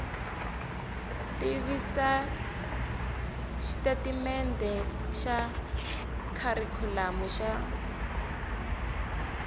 tivisa xitatimendhe xa kharikhulamu xa